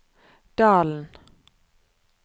Dalen